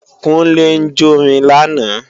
Kúnlé ń jórin lánàá